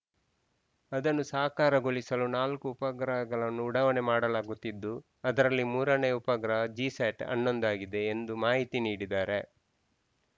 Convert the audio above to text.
ಅದನ್ನು ಸಾಕಾರಗೊಳಿಸಲು ನಾಲ್ಕು ಉಪಗ್ರಹಗಳನ್ನು ಉಡಾವಣೆ ಮಾಡಲಾಗುತ್ತಿದ್ದು ಅದರಲ್ಲಿ ಮೂರನೆಯ ಉಪಗ್ರಹ ಜಿಸ್ಯಾಟ್‌ ಹನ್ನೊಂದು ಆಗಿದೆ ಎಂದು ಮಾಹಿತಿ ನೀಡಿದ್ದಾರೆ